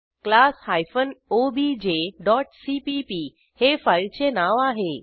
class hyphen O B J dot C P P हे फाईलचे नाव आहे